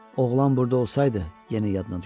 Oğlan burda olsaydı, yenə yadına düşdü.